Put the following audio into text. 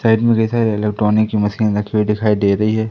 Side मे जैसा electronic की मशीन रखी हुई दिखाई दे रही है।